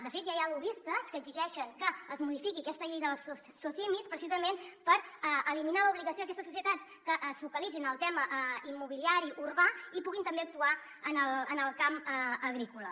de fet ja hi ha lobbistes que exigeixen que es modifiqui aquesta llei de les socimis precisament per eliminar l’obligació d’aquestes societats que es focalitzin en el tema immobiliari urbà i puguin també actuar en el camp agrícola